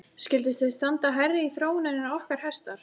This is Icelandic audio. Skyldu þeir standa hærra í þróuninni en okkar hestar?